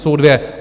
Jsou dvě.